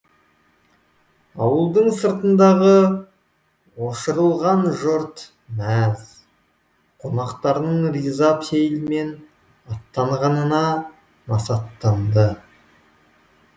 ауылдың сыртындағы ошарылған жұрт мәз қонақтарының риза пейілмен аттанғанына насаттанады